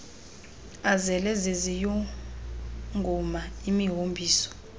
azele ziziyunguma imihombiso